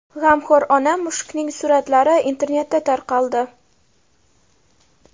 G‘amxo‘r ona mushukning suratlari internetda tarqaldi.